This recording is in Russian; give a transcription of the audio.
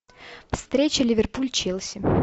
встреча ливерпуль челси